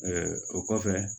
o kɔfɛ